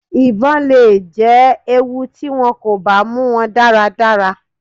Ibon le jẹ ewu ti wọn ko ba mu wọn daradara.